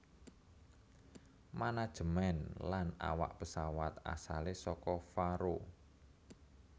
Manajemen lan awak pesawat asale saka Faroe